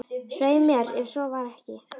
Svei mér, ef svo var ekki.